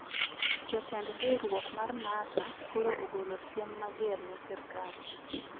Jotend riuruwok mar NASA koro ogolo siem mager ne sirkal